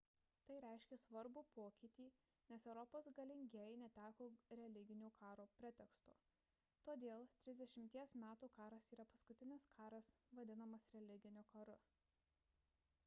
tai reiškė svarbų pokytį nes europos galingieji neteko religinių karų preteksto todėl trisdešimties metų karas yra paskutinis karas vadinamas religiniu karu